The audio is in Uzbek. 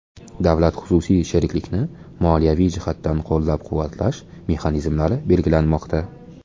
Davlat-xususiy sheriklikni moliyaviy jihatdan qo‘llab-quvvatlash mexanizmlari belgilanmoqda.